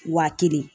Wa kelen